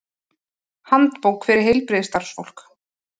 Handbók fyrir heilbrigðisstarfsfólk.